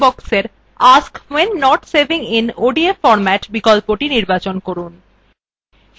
এখন dialog বক্সের মধ্যে ask when not saving in odf format বিকল্পটি নির্বাচন করুন